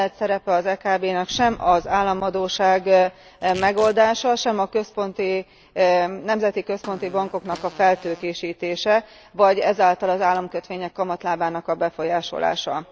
Nem lehet szerepe az EKB nak sem az államadósság megoldása, sem a nemzeti központi bankok feltőkésítése vagy ezáltal az államkötvények kamatlábának a befolyásolása.